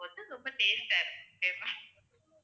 ரொம்ப taste ஆ இருக்கும் okay வா ma'am